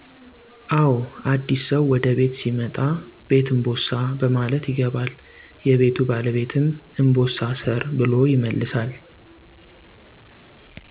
አዎ አዲስ ሰው ወደ ቤት ሲመጣ ''ቤት እንቦሳ '' በማለት ይገባል። የቤቱ ባለቤትም ''እንቦሳ እሰር '' ብሎ ይመልሳል